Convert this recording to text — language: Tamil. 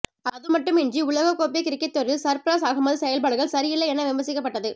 அதுமட்டுமின்றி உலகக்கோப்பை கிரிக்கெட் தொடரில் சர்ஃப்ராஸ் அகமது செயல்பாடுகள் சரியில்லை என விமர்சிக்கப்பட்டது